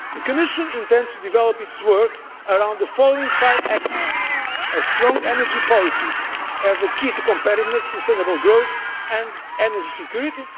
The Commission intends to develop its work around the following five axes a strong energy policy as a key to competitive and sustainable growth and energy security